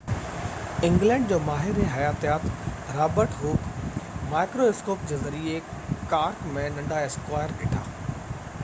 England جو ماهر حياتيات رابرٽ هوڪ مائڪريواسڪوپ جي ذريعي ڪارڪ ۾ ننڍا اسڪوائر ڏٺا